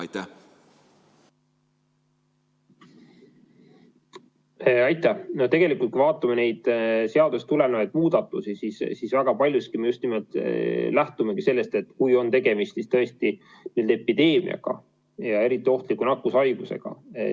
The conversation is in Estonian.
Tegelikult, kui me vaatame neid seadusest tulenevaid muudatusi, siis väga paljuski me just nimelt lähtumegi sellest, et kui on tegemist tõesti epideemiaga, eriti ohtliku nakkushaigusega.